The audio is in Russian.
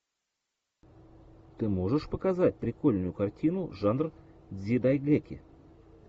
ты можешь показать прикольную картину жанр дзидайгэки